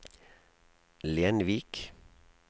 Lenvik